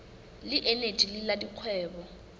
le eneji le la dikgwebo